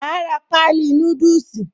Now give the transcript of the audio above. Màá ra páálí núdùsì